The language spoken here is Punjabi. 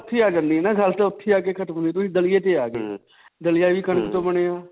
ਓੱਥੇ ਹੀ ਆ ਜਾਂਦੀ ਹੈ ਨਾ. ਗੱਲ ਤਾਂ ਓੱਥੇ ਹੀ ਆ ਕੇ ਖਤਮ ਹੋ ਜਾਂਦੀ ਦਲਿਏ ਤੇ ਆ ਗਈ. ਦਲਿਆ ਵੀ ਕਣਕ ਤੋਂ ਬਣਿਆ.